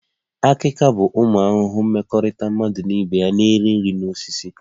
Akika bụ ụmụ ahụhụ mmekọrịta mmadụ na ibe ya na-eri nri na osisi